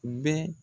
Bɛ